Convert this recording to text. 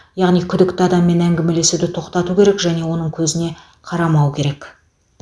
яғни күдікті адаммен әңгімелесуді тоқтату керек және оның көзіне қарамау керек